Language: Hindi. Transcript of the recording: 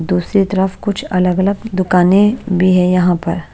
दूसरी तरफ कुछ अलग-अलग दुकानें भी है यहां पर।